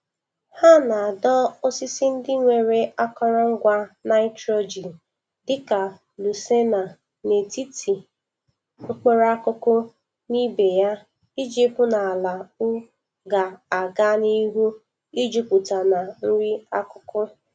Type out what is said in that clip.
Ha na-adọ osisi ndi nwere akọrọngwa nitrogen dịka lucaena n'etiti mkpụrụ akụkụ na ibe ya ii hụ na ala ui ga-aga n'ihu ijuputa na nri akụkụ.